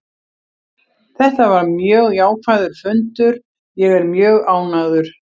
Þetta var mjög jákvæður fundur, ég er mjög ánægður.